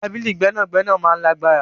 Tabili gbẹnagbẹna maa n lagbara